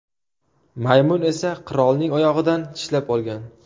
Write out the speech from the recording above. Maymun esa qirolning oyog‘idan tishlab olgan.